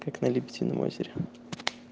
как на лебедином озере